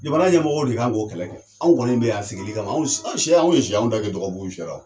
Jamana ɲɛmɔgɔw de k'an k'o kɛlɛ kɛ. Anw kɔni bɛ yan sigili kama. An sɛ , anw ye sɛ ye, an da ka dɔgɔ buru fiyɛra.